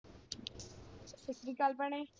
ਸਤਿ ਸ਼੍ਰੀ ਅਕਾਲ ਭੈਣੇ।